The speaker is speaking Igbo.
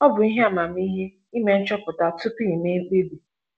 Ọ bụ ihe amamihe ime nchọpụta tupu i mee mkpebi.